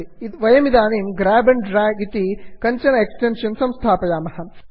वयमिदानीं grab and drag grab and drag इति किञ्चन एक्टेन्षन् संस्थापयामः